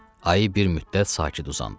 Ayı bir müddət sakit uzandı.